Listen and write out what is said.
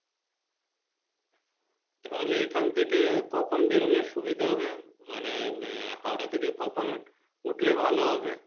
তাহলে এখান থেকে কখন বেড়োলে সুবিধা হবে মানে আহ হাওড়া থেকে কখন উঠলে ভালো হবে?